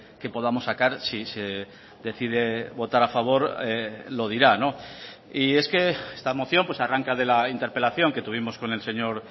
que podamos sacar si se decide votar a favor lo dirá y es que esta moción arranca de la interpelación que tuvimos con el señor